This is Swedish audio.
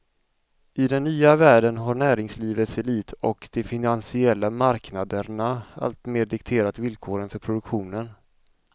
I den nya världen har näringslivets elit och de finansiella marknaderna alltmer dikterat villkoren för produktionen.